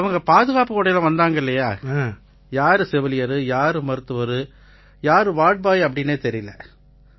அவங்க பாதுகாப்பு உடையில வந்தாங்க இல்லையா யாரு செவிலியர் யாரு மருத்துவர் யார் வார்ட்பாய்ன்னே தெரியலை